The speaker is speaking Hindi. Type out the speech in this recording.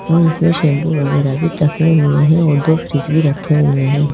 और इसमें शैंपू वगैरह भी टंगे हुए हैं और दो फ्रिज भी रखे हुए हैं।